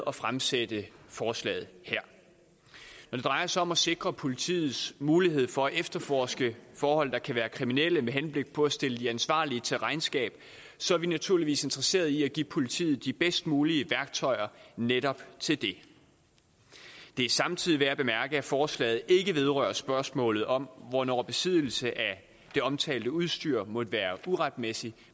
at fremsætte forslaget her når det drejer sig om at sikre politiets mulighed for at efterforske forhold der kan være kriminelle med henblik på at stille de ansvarlige til regnskab så er vi naturligvis interesseret i at give politiet de bedst mulige værktøjer netop til det det er samtidig værd at bemærke at forslaget ikke vedrører spørgsmålet om hvornår besiddelse af det omtalte udstyr måtte være uretmæssig